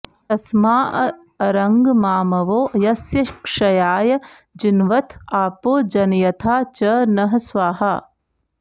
तस्माऽअरङ्गमामवो यस्य क्षयाय जिन्वथ आपो जनयथा च नः स्वाहा